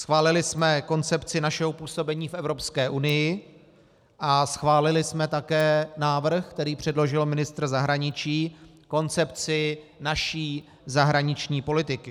Schválili jsme koncepci našeho působení v Evropské unii a schválili jsme také návrh, který předložil ministr zahraničí, koncepci naší zahraniční politiky.